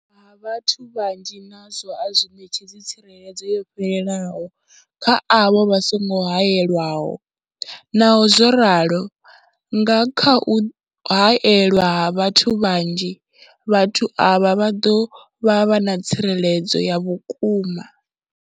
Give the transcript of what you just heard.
Ha vhathu vhanzhi nazwo a zwi ṋetshedzi tsireledzo yo fhelelaho kha avho vha songo haelwaho. Naho zwo ralo, nga kha u haelwa ha vhathu vhanzhi, vhathu avha vha ḓo vha na tsireledzo ya vhukuma.